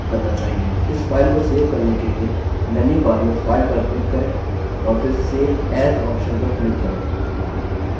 इस file को save करने के लिए menu bar में file पर click करें और फिर save as option पर click करें